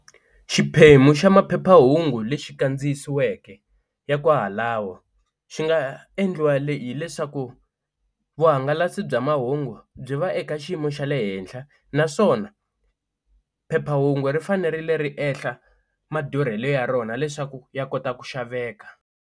Xiphemu xa maphephahungu lexi kandziyisiweke ya kwahalawo, xi nga endliwa hileswaku vuhangalasi bya mahungu byi va eka xiyimo xa le henhla naswona phephahungu ri fanerile ri ehla madurhelo ya rona leswaku ya kota ku xaveka.